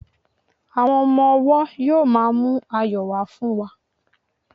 àwọn ọmọ ọwọ yíò ma mu ayọ wa fún wa